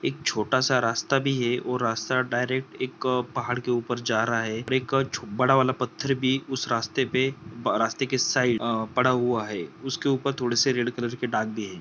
एक छोटा रास्ता भी है और रास्ता डायरेक एक पहाड के उपर जा रहा है उपर एक छो बड़ा वाला पथ्थर भी उस रास्ते पे ब रास्ते के साइड अअ पड़ा हुआ है उसके उपर थोड़े से रेड कलर के दाग भी हैं।